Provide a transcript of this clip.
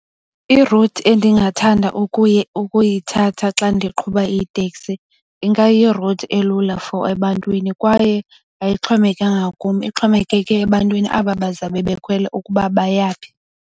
I-route endingathanda ukuyithatha xa ndiqhuba iteksi ingayi-route elula for ebantwini kwaye ayixhomekekanga kum ixhomekeke ebantwini aba bazawube bekhwela ukuba bayaphi.